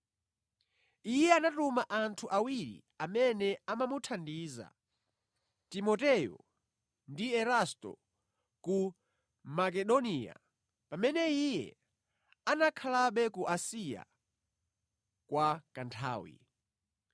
Iye anatuma anthu awiri amene amamuthandiza, Timoteyo ndi Erasto ku Makedoniya, pamene iye anakhalabe ku Asiya kwa kanthawi.